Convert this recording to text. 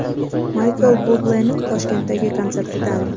Maykl Bublening Toshkentdagi konsertidan.